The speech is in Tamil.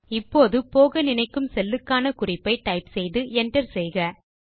இப்போது நீங்கள் போக நினைக்கும் செல்லுக்கான குறிப்பை டைப் செய்து Enter செய்யவும்